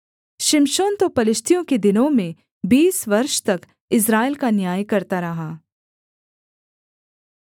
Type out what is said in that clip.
शिमशोन तो पलिश्तियों के दिनों में बीस वर्ष तक इस्राएल का न्याय करता रहा